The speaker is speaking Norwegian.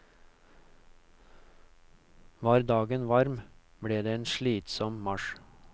Var dagen varm, ble det en slitsom marsj.